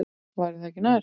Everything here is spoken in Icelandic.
Væri það ekki nær?